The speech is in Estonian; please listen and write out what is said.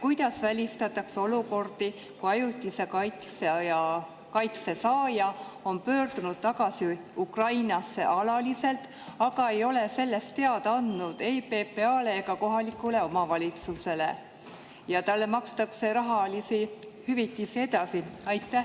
Kuidas välistatakse olukordi, kus ajutise kaitse saaja on pöördunud Ukrainasse alaliselt tagasi, aga ei ole sellest teada andnud ei PPA‑le ega kohalikule omavalitsusele ja talle makstakse rahalisi hüvitisi edasi?